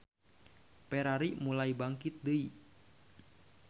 Ferrari mulai bangkit deui.